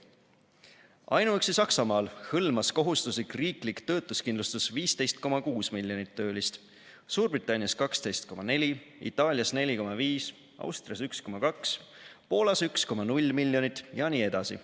Ainuüksi Saksamaal hõlmas kohustuslik riiklik töötuskindlustus 15,6 miljonit töölist, Suurbritannias 12,4, Itaalias 4,5, Austrias 1,2, Poolas 1,0 miljonit jne.